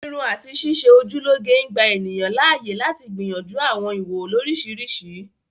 Irun àti ṣíṣe ojú lọ́ge ń gbà ènìyàn láàyè lati gbìyànjú àwọn ìwò oriṣiriṣi